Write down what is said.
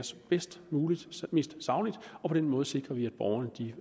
bedst muligt og mest sagligt og på den måde sikrer vi at borgerne